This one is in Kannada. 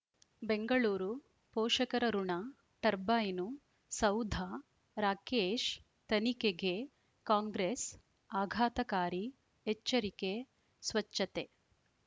ಬೆಂಗಳೂರು ಪೋಷಕರಋಣ ಟರ್ಬೈನು ಸೌಧ ರಾಕೇಶ್ ತನಿಖೆಗೆ ಕಾಂಗ್ರೆಸ್ ಆಘಾತಕಾರಿ ಎಚ್ಚರಿಕೆ ಸ್ವಚ್ಛತೆ